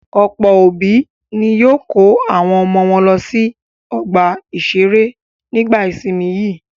Ọ̀pọ̀ àwọn òbí ni yóò kó àwọn ọmọ wọn lọ sí ọgbà-ìṣeré nígbà ìsìnmi yìí.